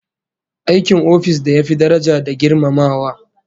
Aikin office da ya fi daraja da girmamawa